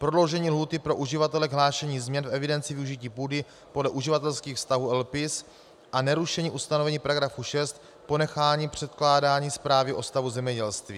Prodloužení lhůty pro uživatele k hlášení změn v evidenci využití půdy podle uživatelských vztahů LPIS a nerušení ustanovení § 6 ponecháním předkládání zprávy o stavu zemědělství.